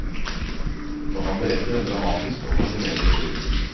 Og han beretter en dramatisk og fascinerende historie.